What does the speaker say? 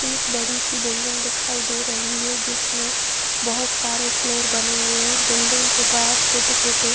एक बड़ी सी बिल्डिंग दिखाई दे रही है जिसमें बहोत सारे फ्लोर बने हुए हैं। बिल्डिग के बाहर छोटे छोटे --